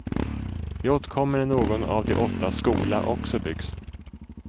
Vi återkommer när någon av de åttas skola också byggs.